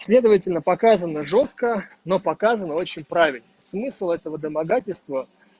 следовательно показано жёстко но показано очень правильно смысл этого домогательство